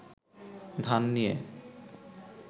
ধান নিয়ে